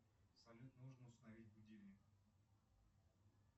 салют нужно установить будильник